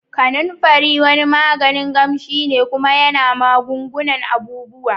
kananfari wani yaji kamshi ne kuma yana magungunan abubuwa.